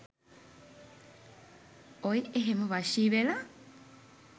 ඔය් එහෙම වශී වෙලා